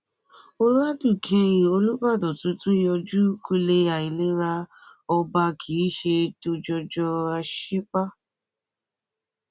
àwọn èrò ìwòran pariwo sókè bí ọdọmọdé oníjó kan ṣe gbé ẹsẹ ijó ìbílẹ pẹlú ìdáraẹnilójú